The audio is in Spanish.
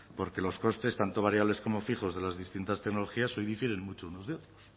porque los costes tanto variables como fijos de las distintas tecnologías hoy difieren mucho unos de otros